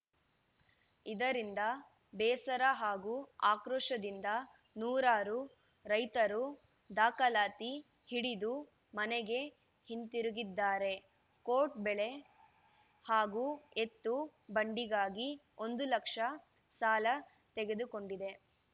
ಇದರಿಂದ ಬೇಸರ ಹಾಗೂ ಆಕ್ರೋಶದಿಂದ ನೂರಾರು ರೈತರು ದಾಖಲಾತಿ ಹಿಡಿದು ಮನೆಗೆ ಹಿಂತಿರುಗಿದ್ದಾರೆ ಕೋಟ್‌ ಬೆಳೆ ಹಾಗೂ ಎತ್ತು ಬಂಡಿಗಾಗಿ ಒಂದು ಲಕ್ಷ ಸಾಲ ತೆಗೆದುಕೊಂಡಿದ್ದೆ